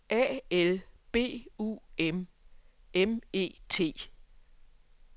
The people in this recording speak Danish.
A L B U M M E T